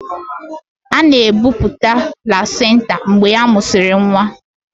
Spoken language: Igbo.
A na-ebupụta placinta mgbe a mụsịrị nwa.